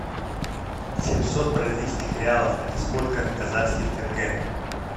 семьсот бразильских реалов это сколько казахских тенге